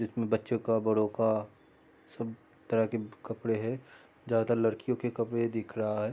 इसमें बच्चों का बड़ों का सब तरह के कपड़े हैं ज्यादा लड़कियों के कपड़े दिख रहा है।